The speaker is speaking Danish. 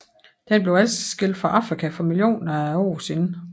Den blev adskilt fra Afrika for millioner af år siden